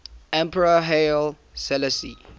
emperor haile selassie